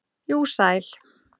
jú, sæl.